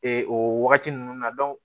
Ee o wagati ninnu na